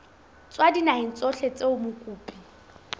tswa dinaheng tsohle tseo mokopi